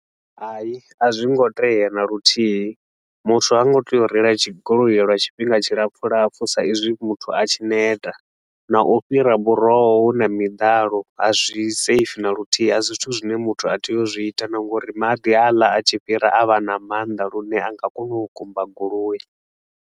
Hai, a zwi ngo tea na luthihi muthu ha ngo tea u reila goloi lwa tshifhinga tshilapfu lapfu sa izwi muthu a tshi neta. Na u fhira buroho hu na miḓalo, a zwi safe na luthihi, a si zwithu zwine muthu a tea u zwi ita na nga uri maḓi haaḽa a tshi fhira a vha na maanḓa lune a nga kona u kumba goloi.